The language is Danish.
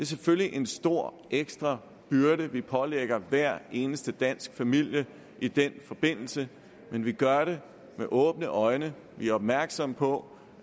selvfølgelig en stor ekstra byrde vi pålægger hver eneste dansk familie i den forbindelse men vi gør det med åbne øjne vi er opmærksomme på